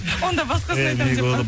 онда басқасын айтамын деп па